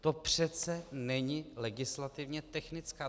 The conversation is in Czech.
To přece není legislativně technická.